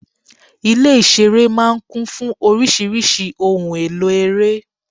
Ilé-ìṣeré máa ń kún fún oríṣiríṣi ohun-èlò ere.